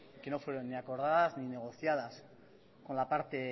que no fueron ni acordadas ni negociadas con la parte